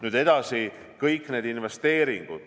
Nüüd edasi, kõik need investeeringud.